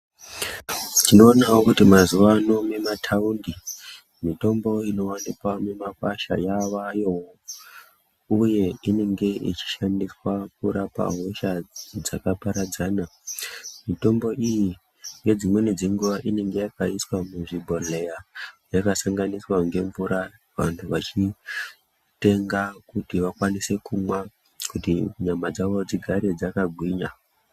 Tinoonawo kuti mazuwa ano nemumataundi mitombo inowanikwa mumakwasha yavayowo uye inenge ichishandiswa kurapa hosha dzakaparadzana mitombo iyi nedzimweni dzenguwa inenge yakaiswa muzvibhehleya yakasanganiswa ngemvura vanhu vachitenga kuti vakwanise kumwa kuti nyama dzawo dzigare dzakagwinya.